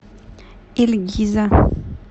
ильгиза